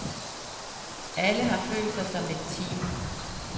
Alle har følt sig som et team.